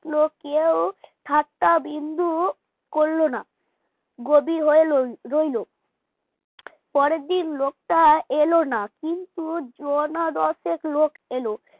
কেউ ঠাট্টা বিন্দু করলো না গভীর হয়ে লই রইল পরের দিন লোকটা এলো না কিন্তু জনা দশেক লোক এলো